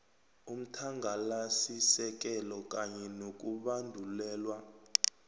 umthangalasisekelo kanye nokubandulelwa